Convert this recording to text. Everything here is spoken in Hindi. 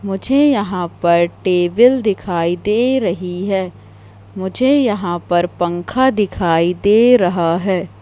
मुझे यहां पर टेबिल दिखाई दे रही है मुझे यहां पर पंखा दिखाई दे रहा है।